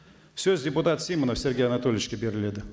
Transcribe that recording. сөз депутат симонов сергей анатольевичке беріледі